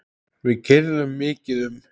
Við keyrðum mikið um.